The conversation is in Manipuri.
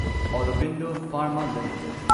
Aurobindo pharma limited